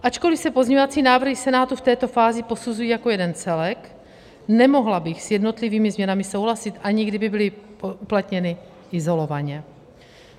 Ačkoli se pozměňovací návrhy Senátu v této fázi posuzují jako jeden celek, nemohla bych s jednotlivými změnami souhlasit, ani kdyby byly uplatněny izolovaně.